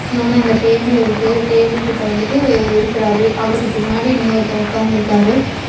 இன்னொன்னு அந்த டேபிள் இருக்கு. டேபிள் கிட்ட வந்துட்டு இருக்கறாரு. அவருக்கு பின்னாடி இன்னொருத்தர் உக்காந்துருக்கறாரு.